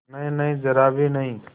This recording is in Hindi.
नहींनहीं जरा भी नहीं